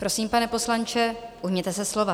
Prosím, pane poslanče, ujměte se slova.